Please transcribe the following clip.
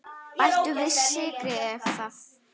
Bættu við sykri ef þarf.